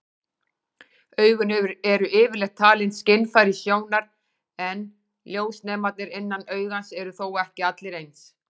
Augun eru yfirleitt talin skynfæri sjónar, en ljósnemarnir innan augans eru þó ekki allir eins.